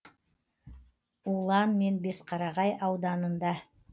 улан мен бесқарағай ауданында